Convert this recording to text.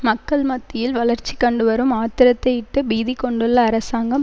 மக்கள் மத்தியில் வளர்ச்சிகண்டுவரும் ஆத்திரத்தையிட்டு பீதி கொண்டுள்ள அரசாங்கம்